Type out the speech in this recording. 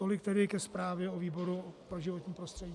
Tolik tedy ke zprávě o výboru pro životní prostředí.